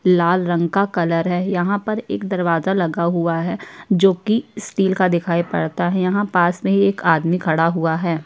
लाल रंग का कलर है। यहाँ पर एक दरवाज़ा लगा हुआ है जो कि स्टील का दिखाई पड़ता है। यहाँ पास में ही एक आदमी खड़ा हुआ है।